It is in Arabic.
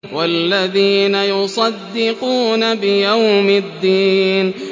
وَالَّذِينَ يُصَدِّقُونَ بِيَوْمِ الدِّينِ